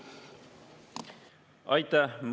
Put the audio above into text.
Aitäh!